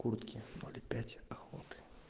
куртки ноль пять охоты